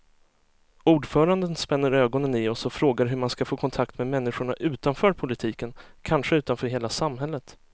Ordföranden spänner ögonen i oss och frågar hur man ska få kontakt med människorna utanför politiken, kanske utanför hela samhället.